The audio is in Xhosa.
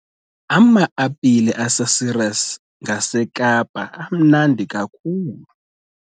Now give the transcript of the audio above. Ama-apile aseCeres ngaseKapa amnandi kakhulu.